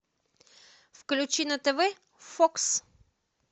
включи на тв фокс